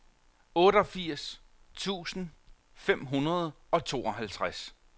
otteogfirs tusind fem hundrede og tooghalvtreds